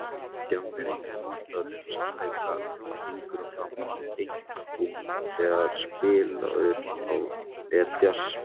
Djamm er einnig notað um samleik af fingrum fram, einkum þegar spilaður er djass.